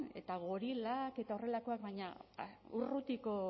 eta gorilak eta horrelakoak baina urrutiko